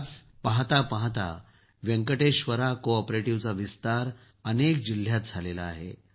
आज पहाता पहाता वेकंटेश्वरा को ऑपरेटिव्हचा विस्तार अनेक जिल्ह्यात झाला आहे